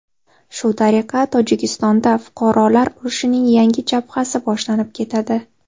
Shu tariqa Tojikistonda fuqarolar urushining yangi jabhasi boshlanib ketadi.